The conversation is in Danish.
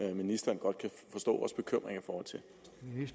at ministeren godt kan forstå vores bekymringer